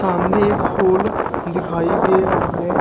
सामने एक होल दिखाई दे रहा है।